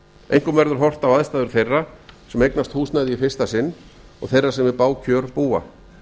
einkum áður horft á aðstæður þeirra sem eignast húsnæði í fyrsta sinn og þeirra sem við bág kjör búa